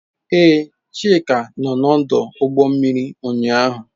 Ee, Chika nọ n'ọdụ ụgbọ mmiri ụnyaahụ.